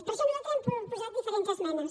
per això nosaltres hem proposat diferents esmenes